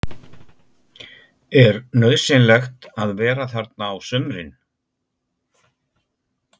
Er nauðsynlegt að vera þarna á sumrin?